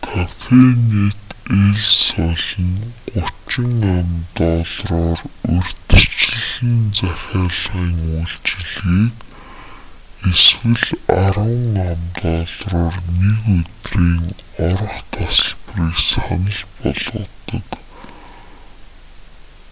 кафенэт эл сол нь 30 ам.доллараар урьдчилсан захилагын үйлчилгээг эсвэл 10 ам.доллараар нэг өдрийн орох тасалбарыг санал болгодог;